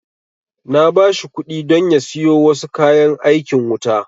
Na ba shi kuɗi don ya siyo wasu kayan aikin wuta